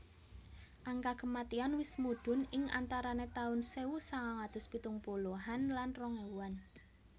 Angka kematian wis mudhun ing antarane taun sewu sangang atus pitung puluhan lan rong ewuan